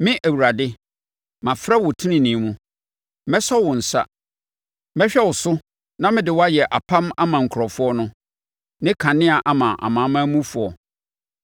“Me, Awurade, mafrɛ wo tenenee mu; mɛsɔ wo nsa. Mɛhwɛ wo so na mede wo ayɛ apam ama nkurɔfoɔ no ne kanea ama amanamanmufoɔ,